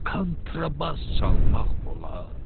kontrabas çalmaq olar.